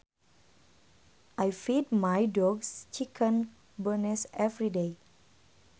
I feed my dog chicken bones every day